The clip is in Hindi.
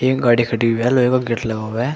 एक गाड़ी खड़ी हुई है लोहे का गेट लगा हुआ है।